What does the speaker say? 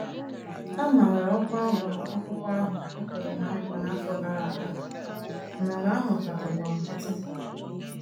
A mara ọkwa ọba akwụkwọ ahụ e kwere ná nkwa n'afọ gara aga, mana ala ahụ ka tọgbọrọ nkiti.